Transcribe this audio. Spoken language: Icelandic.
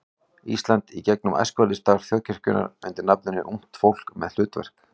Íslands í gegnum æskulýðsstarf þjóðkirkjunnar undir nafninu Ungt fólk með hlutverk.